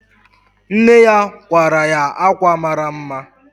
Nne ya kwara ya ákwà mara mma.